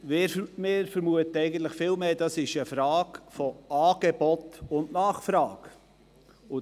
Wir vermuten vielmehr, dass es sich um eine Frage von Angebot und Nachfrage handelt.